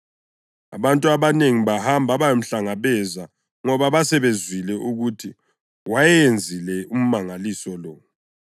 Abantu abanengi bahamba ukuyamhlangabeza ngoba basebezwile ukuthi wayewenzile umangaliso lo.